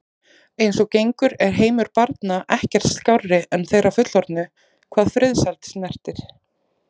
Eins og gengur er heimur barna ekkert skárri en þeirra fullorðnu hvað friðsæld snertir.